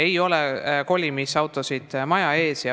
Meil ei ole kolimisautosid maja ees.